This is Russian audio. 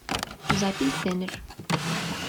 запись денер